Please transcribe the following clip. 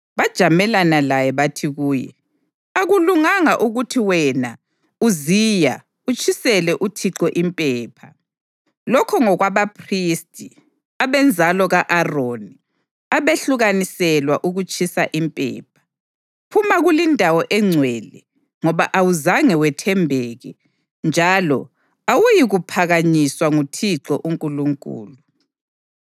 Bajamelana laye bathi kuye, “Akulunganga ukuthi wena, Uziya, utshisele uThixo impepha. Lokho ngokwabaphristi, abenzalo ka-Aroni, abehlukaniselwa ukutshisa impepha. Phuma kulindawo engcwele, ngoba awuzange wethembeke, njalo awuyikuphakanyiswa nguThixo uNkulunkulu.”